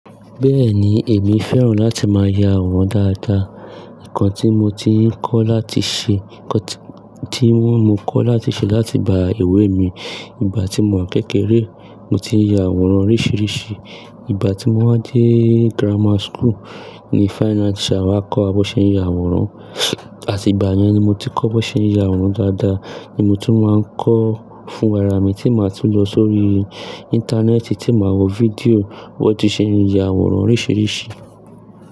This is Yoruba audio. Bẹ́ẹ̀ni, èmi fẹ́ràn láti máa ya àwòrán dáadáa. Nǹkan tí mo ti ń kọ́ láti ṣe, nǹkan tí wọ́n mo kọ́ láti ṣe láti ìgbá ìwé mi, ìgbà tí mò wa kékeré, mo ti ń ya àwòrán oríṣìíríṣìí. Ìgbà tí mo wá dé grammar school ni fine art teacher wa kọ́ wà bọ̀ ṣe ń ya àwòrán, àti ìgbà yẹn ni mo ti kọ́ bó ṣe ń ya àwòrán dáadáa. Ni mo tun wa ń kọ́ fún ra ara mi tí màá tún lọ sórí íńtánẹ́ẹ̀tì tí màá wo fídíò bó ti ṣe ń ya àwòrán oríṣìíríṣìí.